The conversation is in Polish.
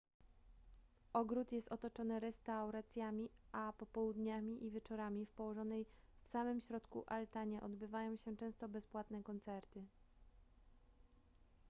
ogród jest otoczony restauracjami a popołudniami i wieczorami w położonej w samym środku altanie odbywają się często bezpłatne koncerty